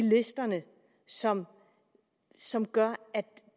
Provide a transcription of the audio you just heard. listerne som som gør at